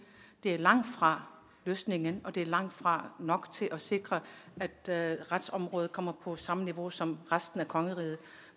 det er langtfra løsningen og det er langtfra nok til at sikre at retsområdet kommer på samme niveau som resten af kongeriget